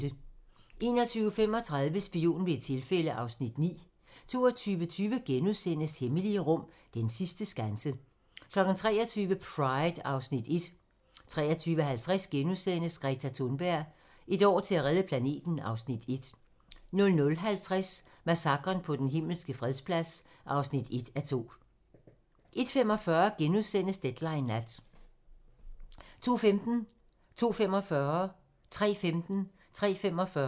21:35: Spion ved et tilfælde (Afs. 9) 22:20: Hemmelige rum: Den sidste skanse * 23:00: Pride (Afs. 1) 23:50: Greta Thunberg: Et år til at redde planeten (Afs. 1)* 00:50: Massakren på Den Himmelske Fredsplads (1:2) 01:45: Deadline Nat * 02:15: Deadline 02:45: Deadline 03:15: Deadline 03:45: Deadline